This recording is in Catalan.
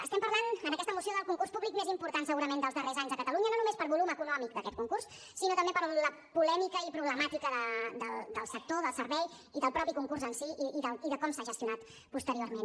estem parlant en aquesta moció del concurs públic més important segurament dels darrers anys a catalunya no només per volum econòmic d’aquest concurs sinó també per la polèmica i problemàtica del sector del servei i del mateix concurs en si i de com s’ha gestionat posteriorment